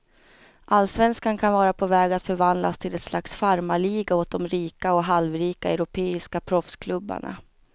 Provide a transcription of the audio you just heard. Allsvenskan kan vara på väg att förvandlas till ett slags farmarliga åt de rika och halvrika europeiska proffsklubbarna.